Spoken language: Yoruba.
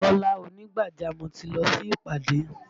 Kọ́lá ònígbàjámọ̀ ti lọ sí ìpàdé